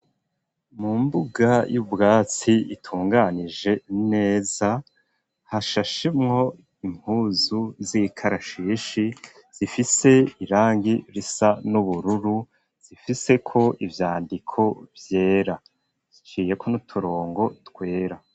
Mu mbuga y'ubwatsi itunganije neza hashashemwo impuzu z'ikarashishi zifise irangi risa n'ubururu zifise ko ivyandiko vyera iciye ko n'uturongo twera.